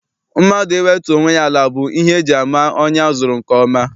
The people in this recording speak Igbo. Mmadụ iwetu onwe ya ala bụ ihe eji ama onye azụrụ nke ọma.